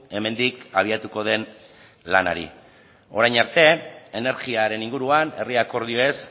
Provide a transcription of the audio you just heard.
hemendik abiatuko den lanari orain arte energiaren inguruan herri akordioez